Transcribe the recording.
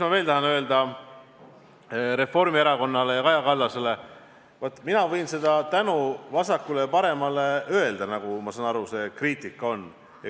Ma tahan öelda Reformierakonnale ja Kaja Kallasele, et mina võin seda tänu vasakule ja paremale jagada, mille kohta, ma sain aru, see kriitika oli.